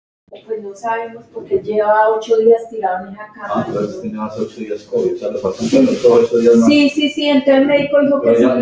Bara eitt orð, Sunna.